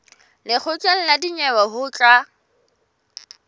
lekgotleng la dinyewe ho tla